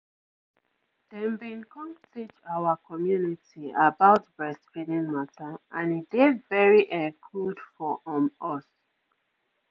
dem bin come teach our community about breastfeeding mata and e dey very[um]good for um us.